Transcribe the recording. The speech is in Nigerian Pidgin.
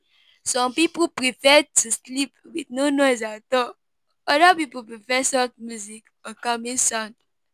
Some pipo prefer to sleep with no noise at all, oda pipo prefer soft music or calming sound